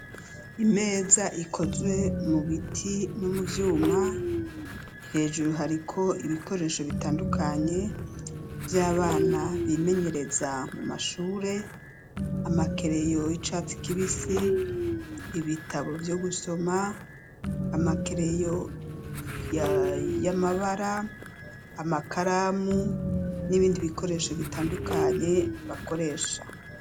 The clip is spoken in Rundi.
imeza ikozwe mu biti no mu vyuma hejuru hariko ibikoresho bitandukanye vy'abana bimenyereza mu mashure amakereyo yicatsi kibisi ibitabo vyo gusoma amakereyo y'amabara amakaramu n'ibindi bikoresho bitandukanye bakoresha.